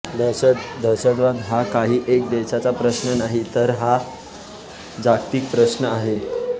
दहशतवाद हा काही एका देशाचा प्रश्न नाही तर हा जागतिक प्रश्न आहे